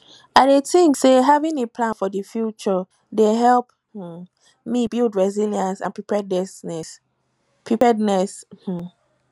i dey think say having a plan for di future dey help um me build resilience and preparedness um